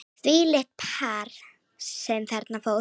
Þvílíkt par sem þarna fór.